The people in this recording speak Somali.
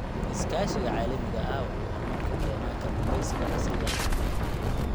Iskaashiga caalamiga ahi waxa uu horumar ka keenaa kalluumaysiga casriga ah.